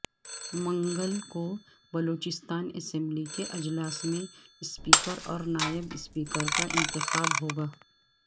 منگل کو بلوچستان اسمبلی کے اجلاس میں سپیکر اور نائب سپیکر کا انتخاب ہوگا